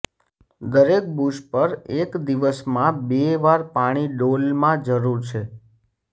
દરેક બુશ પર એક દિવસમાં બે વાર પાણી ડોલમાં જરૂર છે